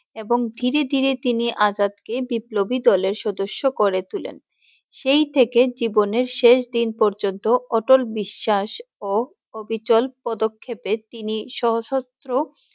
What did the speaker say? এবং ধীরে ধীরে তিনি আজাদ কে বিপ্লবী দলের সদস্য করে তুলেন। সেই থেকে জীবনের শেষ দিনে পর্যন্ত অটল বিশ্বাস ও অবিচল পদক্ষেপে তিনি সশস্ত্র!